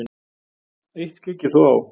Eitt skyggir þó á.